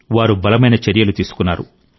వారు బలమైన చర్యలు తీసుకున్నారు